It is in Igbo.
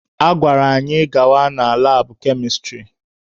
A gwara anyị gawa na labụ kemịstrị